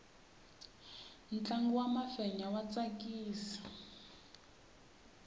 ntlangu wa mafenya wa tsakisa